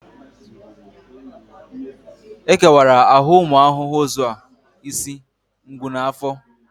E kewara ahụ ụmụ ahụhụ ụzọ isi, ngụ na afọ